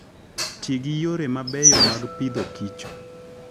Ti gi yore mabeyo mag Agriculture and Food.